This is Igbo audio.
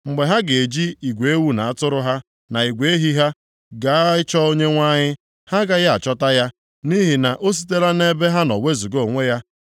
Mgbe ha ga-eji igwe ewu na atụrụ ha na igwe ehi ha, gaa ịchọ Onyenwe anyị, ha agaghị achọta ya. Nʼihi na o sitela nʼebe ha nọ wezuga onwe ya.